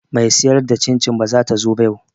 Me siyar da cin cin bazata zo ba yau